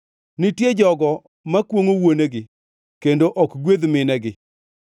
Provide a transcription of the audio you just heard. “Nitie jogo makwongʼo wuonegi kendo ok gwedh minegi;